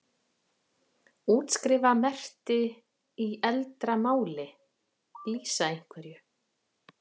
Útskrifa merkti í eldra máli?lýsa einhverju?